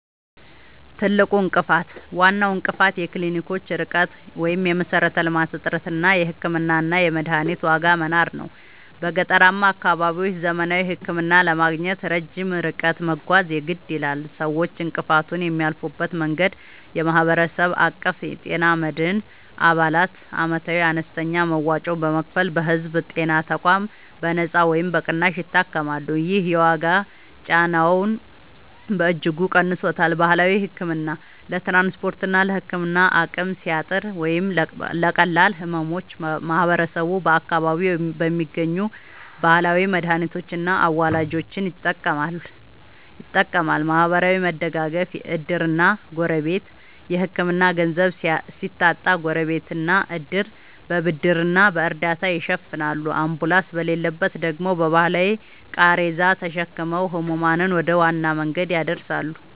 ትልቁ እንቅፋት፦ ዋናው እንቅፋት የክሊኒኮች ርቀት (የመሠረተ-ልማት እጥረት) እና የሕክምናና የመድኃኒት ዋጋ መናር ነው። በገጠራማ አካባቢዎች ዘመናዊ ሕክምና ለማግኘት ረጅም ርቀት መጓዝ የግድ ይላል። ሰዎች እንቅፋቱን የሚያልፉበት መንገድ፦ የማህበረሰብ አቀፍ የጤና መድን፦ አባላት ዓመታዊ አነስተኛ መዋጮ በመክፈል በሕዝብ ጤና ተቋማት በነጻ ወይም በቅናሽ ይታከማሉ። ይህ የዋጋ ጫናውን በእጅጉ ቀንሶታል። ባህላዊ ሕክምና፦ ለትራንስፖርትና ለሕክምና አቅም ሲያጥር ወይም ለቀላል ሕመሞች ማህበረሰቡ በአካባቢው በሚገኙ ባህላዊ መድኃኒቶችና አዋላጆች ይጠቀማል። ማህበራዊ መደጋገፍ (ዕድርና ጎረቤት)፦ የሕክምና ገንዘብ ሲታጣ ጎረቤትና ዕድር በብድርና በእርዳታ ይሸፍናሉ፤ አምቡላንስ በሌለበት ደግሞ በባህላዊ ቃሬዛ ተሸክመው ሕሙማንን ወደ ዋና መንገድ ያደርሳሉ።